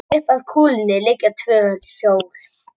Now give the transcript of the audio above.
Upp að kúlunni liggja tvö hjól.